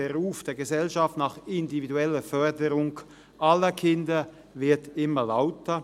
Der Ruf der Gesellschaft nach individueller Förderung aller Kinder wird immer lauter.